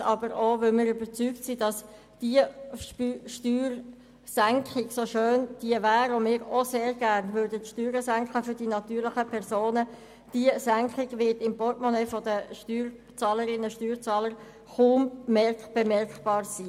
Anderseits aber auch, weil wir überzeugt sind, dass diese Steuersenkung, so schön diese auch wäre und so sehr wir uns diese für die natürlichen Personen wünschen, im Portemonnaie der Steuerzahlerrinnen und Steuerzahler kaum bemerkbar wäre.